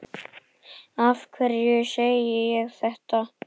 Af hverju segi ég þetta?